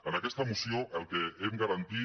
en aquesta moció el que hem garantit